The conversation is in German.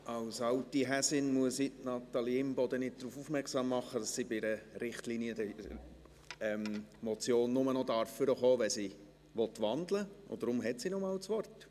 Ich muss Natalie Imboden als alte Häsin nicht darauf aufmerksam machen, dass sie bei einer Richtlinienmotion nur noch nach vorne treten darf, wenn sie wandeln will, und deshalb hat sie noch einmal das Wort.